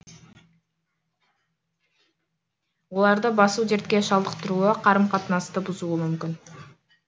оларды басу дертке шалдықтыруы қарым қатынасты бұзуы мүмкін